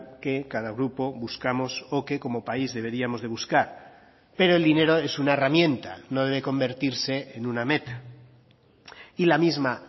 que cada grupo buscamos o que como país deberíamos de buscar pero el dinero es una herramienta no debe convertirse en una meta y la misma